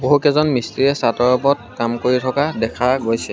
বহুকেইজন মিস্ত্ৰীয়ে চাদৰ ওপৰত কাম কৰি থকা দেখা গৈছে।